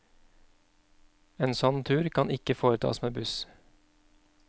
En sånn tur kan ikke foretas med buss.